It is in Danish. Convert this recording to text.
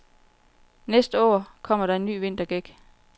Næste år kommer der en ny vintergæk.